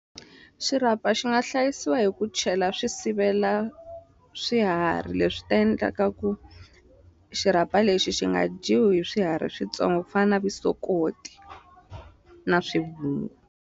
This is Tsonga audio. Xirhapa xi nga hlayisiwa hi ku chela swisivela swiharhi leswi ta endlaka ku xirhapa lexi xi nga dyiwi swiharhi switsongo fana vusokoti na swivungu.